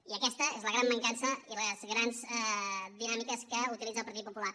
i aquestes són la gran mancança i les grans dinàmiques que utilitza el partit popular